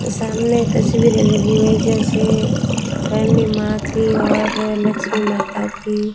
सामने तस्वीरें लगी हुई है जैसे काली मां की और लक्ष्मी माता की।